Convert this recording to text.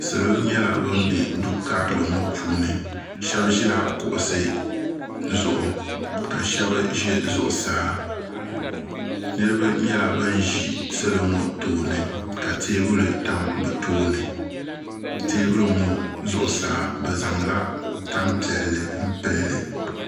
salo nyɛla ban bɛ do kari ŋɔ puuni shɛbi ʒɛla kuɣisi zuɣ ka shɛbi ʒɛ zuɣ saa niriba nyɛla ban ʒɛ salo ŋɔ tuuni ka tɛbuli tami be tuuni tɛbuli ŋɔ zuɣ saa bɛ zaŋ la tam piɛli pɛli